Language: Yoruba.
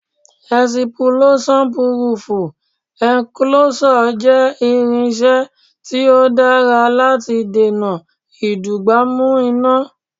Ẹ̀sìpúlóṣán Púrúfú Ẹ̀ǹkoloṣọ̀ jẹ́ irinṣẹ́ tí ó dára láti dènà ìdúgbàmù iná.